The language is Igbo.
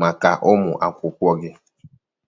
maka ụmụ akwụkwọ gị.